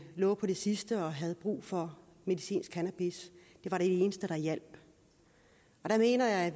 lå på det sidste og havde brug for medicinsk cannabis det var det eneste der hjalp det mener jeg